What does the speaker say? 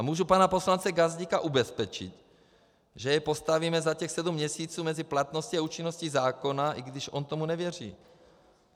A můžu pana poslance Gazdíka ubezpečit, že jej postavíme za těch sedm měsíců mezi platností a účinností zákona, i když on tomu nevěří.